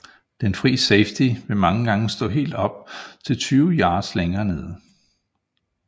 Den fri safety vil mange gange stå helt op til tyve yards længere nede